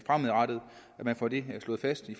at man får det slået fast i